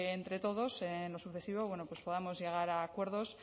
entre todos en lo sucesivo pues podamos llegar a acuerdos